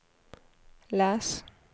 läs